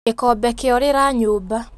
Gĩkombe kĩorĩra nyũmba